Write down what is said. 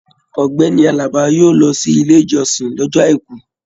Ọgbẹni Àlàbá yóò lọ sí Ilé-ìjọsìn lọ́jọ́ àìkú.